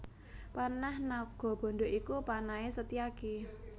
Panah Nagabandha iku panahé Setyaki